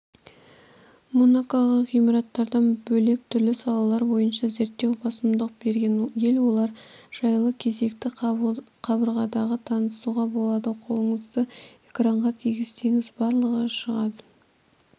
монако ғимараттардан бөлек түрлі салалар бойыншада зерттеуге басымдық берген ел олар жайлы кезекті қабырғадан танысуға болады қолыңызды экранға тигізсеңіз барлығы шыға